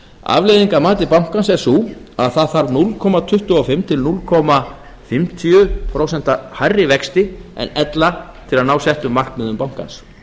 að mati bankans er sú að það þarf núll komma tuttugu og fimm til hálft prósent hærri vexti en ella til að ná settum markmiðum bankans